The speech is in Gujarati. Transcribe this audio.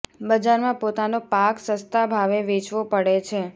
બજાર માં પોતાનો પાક સસ્તા ભાવે વેચવો પડે છે